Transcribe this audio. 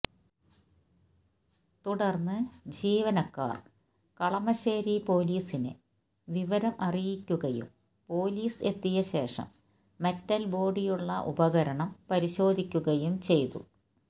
തുടര്ന്ന് ജീവനക്കാര് കളമശേരി പൊലീസിനെ വിവരം അറിയിക്കുകയും പൊലീസ് എത്തിയ ശേഷം മെറ്റല് ബോഡിയുള്ള ഉപകരണം പരിശോധിക്കുകയും ചെയ്തു